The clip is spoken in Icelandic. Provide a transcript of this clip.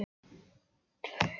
Jörgen, hvar er dótið mitt?